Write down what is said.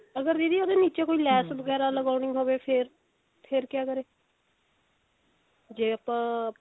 ਅਗਰ ਦੀਦੀ ਉਹਦੇ ਨਿੱਚੇ ਕੋਈ ਲੈਸ ਵਗੇਰਾ ਲਗਾਉਣੀ ਹੋਵੇ ਫੇਰ ਫੇਰ ਕਿਆ ਕਰੇ ਜੇ ਆਪਾਂ ਪਿਕੋ